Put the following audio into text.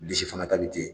Bilisi fana ta bɛ ten